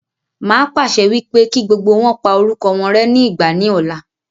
Màá pàṣẹ wípé kí gbogbo wọn pa orúkọ wọn rẹ́ ní ìgbà ní ọ̀la.